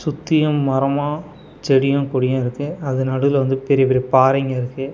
சுத்தியு மரமா செடியு கொடியு இருக்கு அது நடுவுல வந்து பெரிய பெரிய பாறைங்க இருக்கு.